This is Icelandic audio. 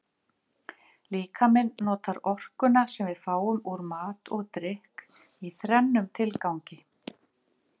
Líkaminn notar orkuna sem við fáum úr mat og drykk í þrennum tilgangi.